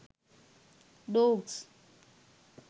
dogs